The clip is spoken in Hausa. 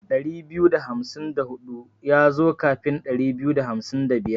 Ɗari biyu da hamsin da hudu yazo kafin Ɗari biyu da hamsin da biyar.